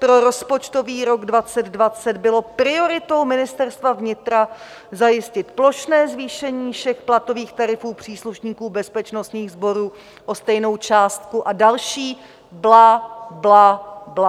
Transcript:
Pro rozpočtový rok 2020 bylo prioritou Ministerstva vnitra zajistit plošné zvýšení všech platových tarifů příslušníků bezpečnostních sborů o stejnou částku a další bla, bla, bla.